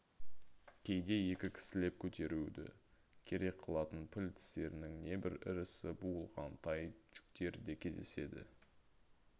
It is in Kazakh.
кейде екі кісілеп көтеруді керек қылатын піл тістерінің небір ірісі буылған тай жүктер де кездеседі